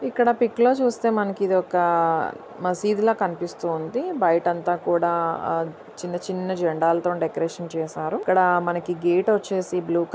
ఇక్క చూస్తే మనకి ఇ దీ ఒక్క మస్జిద్ ల కనిపిస్తుంది బయట అంత కూడా చిన్న చిన్న జెండాల తోని చేశారు--